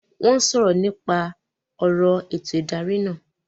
Wọ́n ń sọ̀rọ̀ nípa ọ̀rọ̀ ètò ìdarí náà